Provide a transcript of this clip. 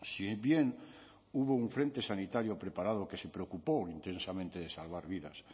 si bien hubo un frente sanitario preparado que se preocupó intensamente de salvar vidas